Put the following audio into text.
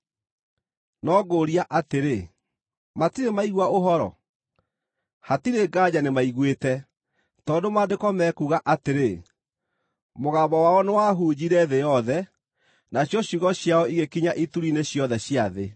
No ngũũria atĩrĩ: Matirĩ maigua Ũhoro? Hatirĩ nganja nĩmaiguĩte, tondũ Maandĩko mekuuga atĩrĩ: “Mũgambo wao nĩwahunjire thĩ yothe, nacio ciugo ciao igĩkinya ituri-inĩ ciothe cia thĩ.”